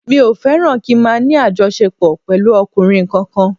Mi ò fẹ́ràn kí n máa ní àjọṣepọ̀ pẹ̀lú ọkùnrin kankan